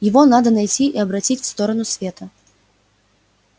его надо найти и обратить в сторону света